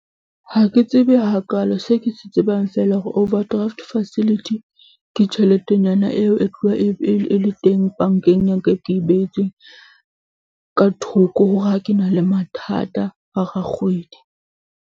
Ha ke tsebe hakaalo, se ke se tsebang fela ho overdraft facility ke tjheletenyana eo e tloha e le, e le teng bank-eng ya ka, e ke e behetsweng, ka thoko hore ha ke na le mathata hara kgwedi.